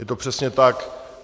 Je to přesně tak.